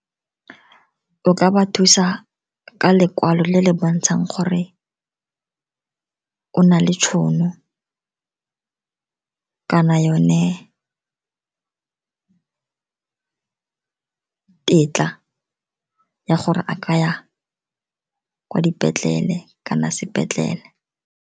O ka ba thusa ka lekwalo le le bontshang gore o na le tšhono kana yone tetla ya gore a ka ya kwa dipetlele kana sepetlele.